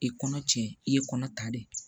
I kɔnɔ cɛ i ye kɔnɔ ta de ye